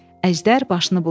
Əjdər başını buladı.